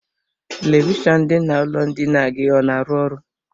Televishọnụ dị n'ụlọ ndina gị ọ na-arụ ọrụ?